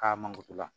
K'a mangorotu la